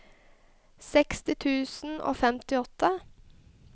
seksti tusen og femtiåtte